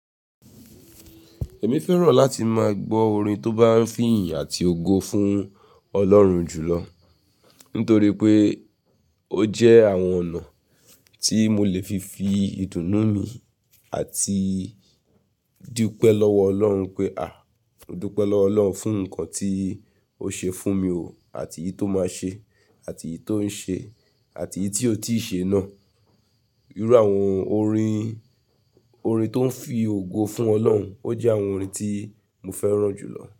Èmi fẹ́ràn láti máa gbọ́ orin tó bá ń fi ìyìn àti ògo fún Ọlọ́run jùlọ. Nítorí pé ó jẹ́ àwọn ọ̀nà tí mo lè fi fi ìdùnnú mi àti dí pé lọ́wọ Ọlọ́run pé, à, dúró pé lọ́wọ Ọlọ́run fún nǹkan tí ó ṣe fún mi ò, àti èyí tó máa ṣe, àti èyí tó ń ṣe, àti èyí tí ó tíì ṣe náà. Irú àwọn orin, orin tó ń fi ògo fún Ọlọ́run, ó jẹ́ àwọn orin tí mo fẹ́ràn jùlọ.